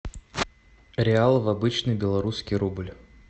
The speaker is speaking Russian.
реал в обычный белорусский рубль